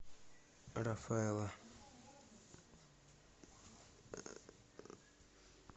рафаэлло